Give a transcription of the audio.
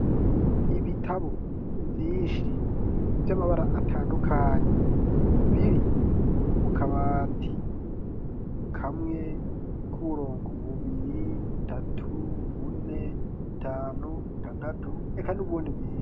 Ibitabo, vyishi ,vy'amabara atandukanye, biri, mu kabati, kamwe k'uburongo, bubiri ,butatu, bune ,butanu ,butandatu, eka n'ubundi bwishi